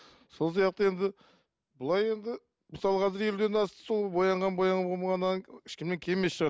сол сияқты енді былай енді мысалға қазір елуден асты сол боянған ешкімнен кем емес шығар